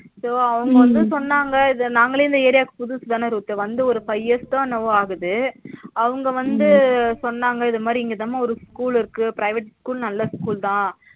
So அவங்க வந்து சொன்னாங்க இது நாங்களே area க்கு புதுசுதானா ரூத்து வந்து ஒரு five years தா என்னமோ ஆகுதுஅவங்க வந்து சொன்னாங்க இதுமாதிரி இங்கதாமா ஒரு school இருக்கு private school நல்லா school தா